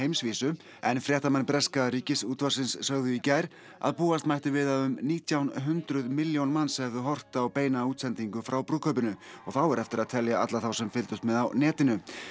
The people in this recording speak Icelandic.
en fréttamenn breska Ríkisútvarpsins sögðu í gær að búast mætti við að um nítján hundruð milljón manns hefðu horft á beina útsendingu frá brúðkaupinu og þá er eftir að telja alla þá sem fylgdust með á netinu